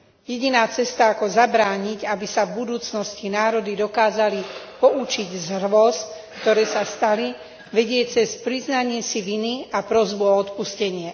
Jediná cesta, ako zabrániť, aby sa v budúcnosti národy dokázali poučiť z hrôz, ktoré sa stali, vedie cez priznanie si viny a prosbu o odpustenie.